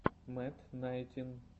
мэт найнтин